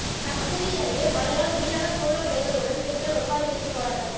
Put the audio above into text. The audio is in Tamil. கமுதி அருகே மழையால் வீணான சோளப்பயிர்களுடன் பெண்கள் ஒப்பாரி வைத்து போராட்டம்